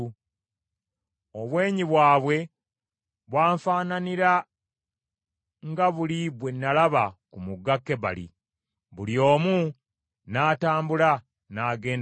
Obwenyi bwabwe bwanfaananira nga buli bwe nalaba ku mugga Kebali. Buli omu n’atambula n’agenda mu maaso.